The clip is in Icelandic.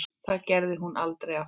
Það gerði hún aldrei aftur.